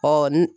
Ɔ ni